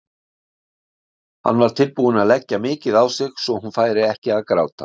Hann var tilbúinn að leggja mikið á sig svo hún færi ekki að gráta.